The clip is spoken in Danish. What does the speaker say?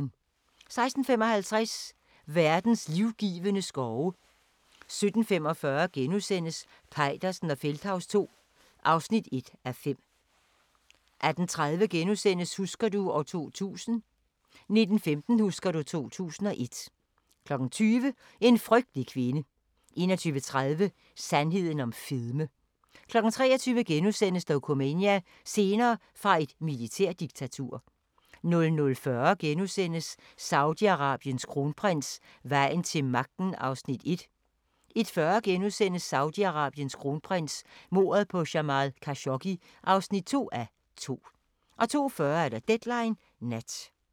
16:55: Verdens livgivende skove 17:45: Peitersen og Feldthaus II (1:5)* 18:30: Husker du ... 2000 * 19:15: Husker du ... 2001 20:00: En frygtelig kvinde 21:30: Sandheden om fedme 23:00: Dokumania: Scener fra et militærdiktatur * 00:40: Saudi-Arabiens kronprins: Vejen til magten (1:2)* 01:40: Saudi-Arabiens kronprins: Mordet på Jamal Khashoggi (2:2)* 02:40: Deadline Nat